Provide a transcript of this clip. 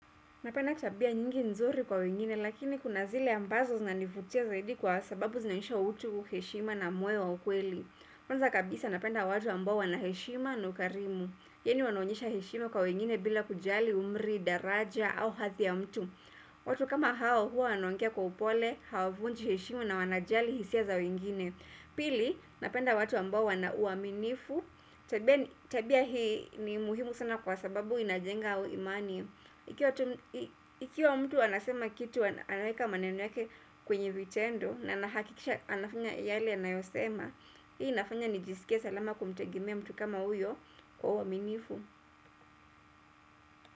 Napenda tabia nyingi nzuri kwa wengine lakini kuna zile ambazo zinanivutia zaidi kwa sababu zinanionyesha utu kuheshima na moyo wa ukweli. Kwanza kabisa napenda watu ambao wana heshima na ukarimu. Yenyu wanonyesha heshima kwa wengine bila kujali umri, daraja au hathi ya mtu. Watu kama hao huwa wanaongea kwa upole, hawavunji heshimu na wanajali hisia za wengine. Pili, napenda watu ambao wana uaminifu. Tabia hii ni muhimu sana kwa sababu inajenga au imani. Ikiwa mtu anasema kitu anaeka maneno yake kwenye vitendo na anafanya yale anayosema hii inafanya nijisike salama kumtegemea mtu kama huyo kwa uwaminifu.